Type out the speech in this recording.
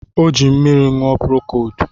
Ọ jiri mmiri ṅụọ prokodu